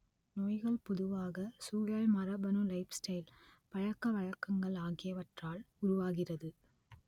நோய்கள் பொதுவாக சூழல் மரபணு லைஃப்ஸ்டைல் பழக்கவழக்கங்கள் ஆகியவற்றால் உருவாகிறது